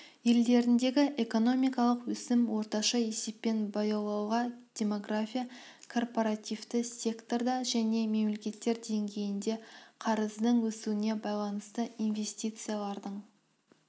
елдеріндегі экономикалық өсім орташа есеппен баяулауға демография корпоративті секторда және мемлекеттер деңгейінде қарыздың өсуіне байланысты инвестициялардың